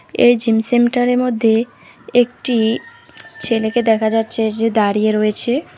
এই জিম সেমটারের মধ্যে একটি ছেলেকে দেখা যাচ্ছে যে দাঁড়িয়ে রয়েছে।